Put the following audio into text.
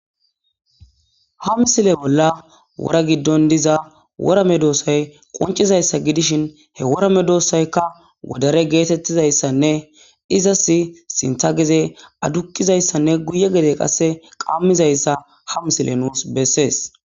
hamsile bolla wora giddon diza worame doossay qoncizayssa gidishin he worame doossaykka wodare geetettizayssanne izas sintha geze adukkizayssanne guye gede qasse qammizayssa hamsile nuus bessees